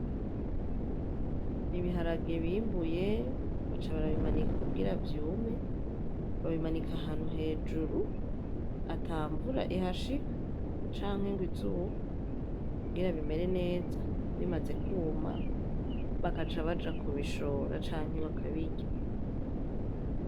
Ibiharage bimbuye baca barabimanika kugira vyume babimanika ahantu hejuru, atamvura ihashika canke ngwizuba kugira bimere neza bimaze kwuma, bakaca baja kubishora canke bakabirya.